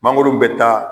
Mangoro bɛ taa